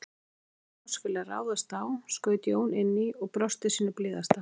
Því ræningjar oss vilja ráðast á, skaut Jón inn í og brosti sínu blíðasta.